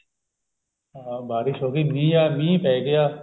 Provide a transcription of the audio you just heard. ਹਾ ਬਾਰਿਸ਼ ਹੋਗੀ ਵੀ ਯਾਰ ਮੀਹ ਪੈਗਿਆ